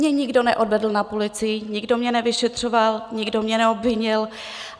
Mě nikdo neodvedl na policii, nikdo mě nevyšetřoval, nikdo mě neobvinil.